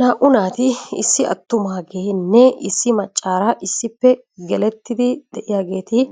Naa"u naati, issi attumaagenne issi maccaara issippe getettidi de'iyaageeti